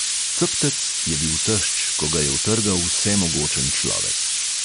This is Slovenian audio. Ceptec je bil tešč, ko ga je utrgal vsemogočen človek.